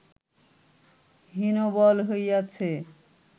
হীনবল হইয়াছে